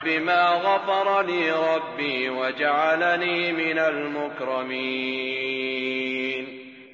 بِمَا غَفَرَ لِي رَبِّي وَجَعَلَنِي مِنَ الْمُكْرَمِينَ